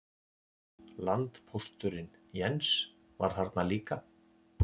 Landpósturinn, Jens, var þarna líka.